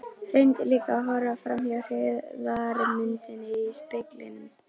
Reyndi líka að horfa framhjá hryggðarmyndinni í speglinum.